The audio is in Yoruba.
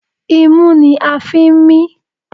Imú ni a ń fi ń mí